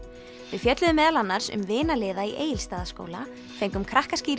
við fjölluðum meðal annars um vinaliða í Egilsstaðaskóla fengum